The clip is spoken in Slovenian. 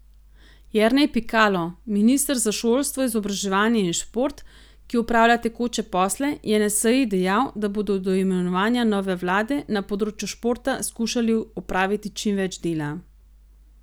Jernej Pikalo, minister za šolstvo, izobraževanje in šport, ki opravlja tekoče posle, je na seji dejal, da bodo do imenovanja nove vlade na področju športa skušali opraviti čim več dela.